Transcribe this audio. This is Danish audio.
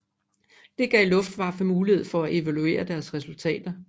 Det gav Luftwaffe mulighed for at evaluere deres resultater